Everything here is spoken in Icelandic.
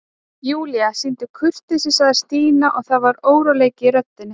Júlía, sýndu kurteisi sagði Stína og það var óróleiki í röddinni.